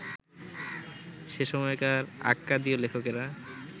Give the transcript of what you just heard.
সেসময়কার আক্কাদীয় লেখকেরা